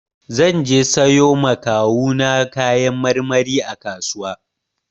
Zan je sayo ma kawu na kayan marmari a kasuwa.